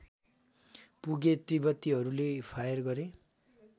पुगे तिब्बतीहरूले फायर गरे